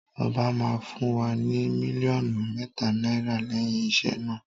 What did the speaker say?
Ọba máa fún wa ní mílíọ̀nù mẹ́ta náírà lẹ́yìn iṣẹ́ náà.